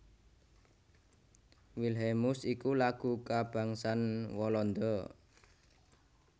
Wilhelmus iku Lagu kabangsan Walanda